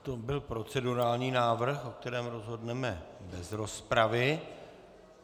To byl procedurální návrh, o kterém rozhodneme bez rozpravy.